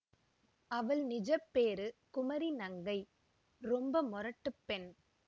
அவள் நிஜப் பேரு குமரி நங்கை ரொம்ப முரட்டுப் பெண்